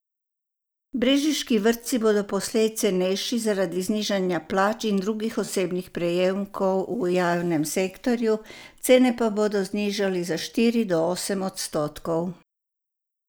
Brežiški vrtci bodo poslej cenejši zaradi znižanja plač in drugih osebnih prejemkov v javnem sektorju, cene pa bodo znižali za štiri do osem odstotkov.